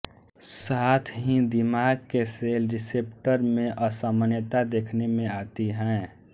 साथ ही दिमाग के सेल रिसेप्टर में असामान्यता देखने में आती है